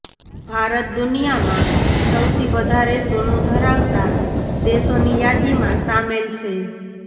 ભારત દુનિયામાં સૌથી વધારે સોનુ ધરાવતા દેશોની યાદીમાં સામેલ છે